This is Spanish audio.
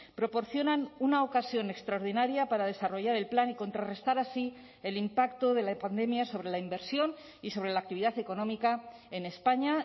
proporcionan una ocasión extraordinaria para desarrollar el plan y contrarrestar así el impacto de la pandemia sobre la inversión y sobre la actividad económica en españa